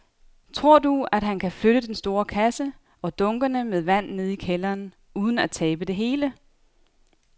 Tror du, at han kan flytte den store kasse og dunkene med vand ned i kælderen uden at tabe det hele?